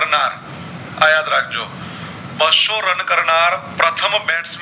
બાશો run કરનાર પ્રથમ